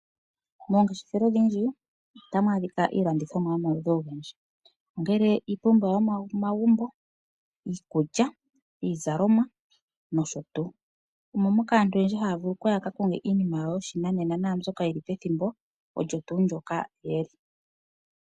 Moongeshefelo odhindji otamu adhika iilandithomwa yomaludhi ogendji ongele iipumbiwa yomomagumbo, iikulya, iizalomwa nosho tu. Omo moka aantu oyendji haya vulu okuya yakakonge iinima yawo yoshinanena naambyoka yili pethimbo olyo tuu ndjoka yeli.